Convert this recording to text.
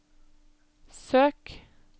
søk